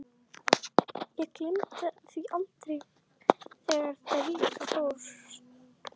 Ég gleymi því aldrei, þegar Devika fórst.